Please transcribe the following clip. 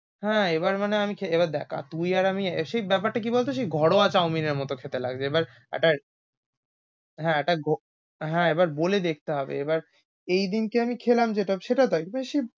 হ্যাঁ, এবার মানে আমি খে~দেখা তুই আর আমি, সেই ব্যাপার টা কি বলতো সেই ঘরোয়া chow-mein এর মতো খেতে লাগছিল। এবার এটা, হ্যাঁ এটা হ্যাঁ এবার বলে দেখতে হবে এই দিনটা আমি খেলাম যেটা সেটা দেখ বেশি।